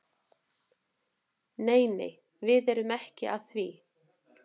Nei nei, við erum ekki að því.